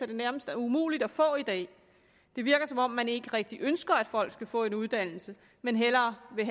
det nærmest er umuligt at få i dag det virker som om man ikke rigtig ønsker at folk skal få en uddannelse men hellere vil